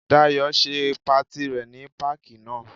Dayọ̀ ṣe patí rẹ ní páàkì náà.